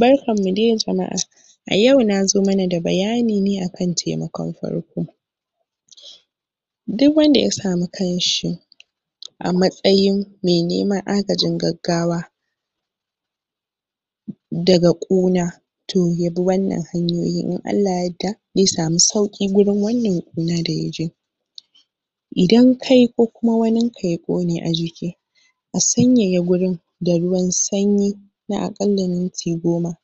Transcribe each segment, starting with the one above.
Barkanmu de jama'a na zo mana da bayani ne akan taimakon farko duk wanda ya samu kanshi a matsayin me neman agajin gagawa dga ƙuna toh yabi wannan hanyoyin in Allah ya yarda za samu sauƙin gurin wannan ƙuna da ya ji idan kai ko kuma wannan ka ya ƙone a jiki a sanyaya wurin da ruwan sanyi na harkalan minti goma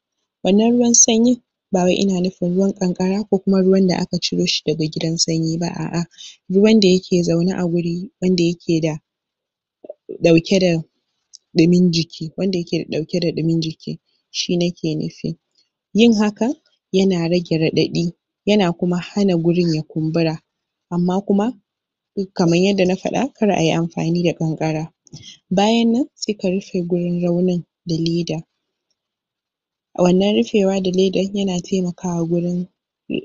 wanan ruwan sanyin ba wai ina nufin ruwan kanƙara ko kuma ruwan da aka ciro shi daga gidan sanyi ba a'a, ruwan da yake zaune a wuri wanda yake da dauke da ɗumin jiki, wanda yake dauke da dumin jiki, shi nake nufi yin hakan yana rage raɗaɗi yana kuma hana wurin ya kumbura amma kuma kamar yada na faɗa kar ayi amfani da kankara bayan nan se ka rufe wurin raunin da leda a wanan rufewa da leda yana taimakawa wurin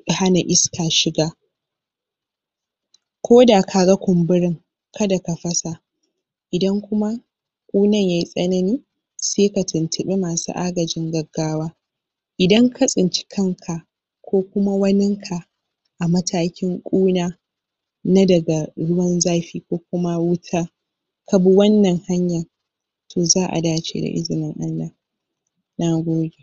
hana iska shiga ko da kaga kumburin kada ka fasa idan kuma ƙunnan yayi tsanani se ka tuntuɓi masu agajin gagawa idan ka tsinci kanka ko kuma wanin ka a matakin ƙuna na daga ruwan zafi ko kuma wuta ka bi wannan hanya toh za'a dace da izinin Allah na gode.